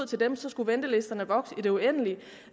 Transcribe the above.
til dem skulle ventelisterne vokse i det uendelige